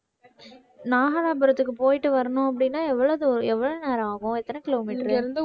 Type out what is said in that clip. நாகலாபுரத்துக்கு போயிட்டு வரணும் அப்படின்னா எவ்வளவு தூ~ எவ்வளவு நேரம் ஆகும் எத்தனை kilometer உ?